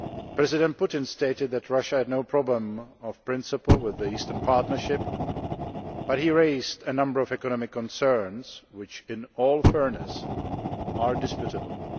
President Putin stated that Russia had no problem in principle with the Eastern Partnership, but he raised a number of economic concerns, which in all fairness are disputable.